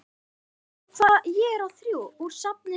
Úr safni SÁA.